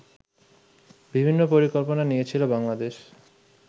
বিভিন্ন পরিকল্পনা নিয়েছিল বাংলাদেশ